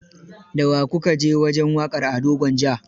Da wa ku ka je wajen waƙar Ado Gwanja?